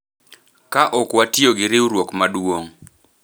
Ka ok watiyo gi riwruok maduong’,